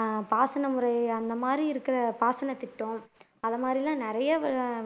அஹ் பாசன முறை அந்த மாதிரி இருக்கிற பாசனத்திட்டம் அந்தமாதிரி எல்லாம் நிறைய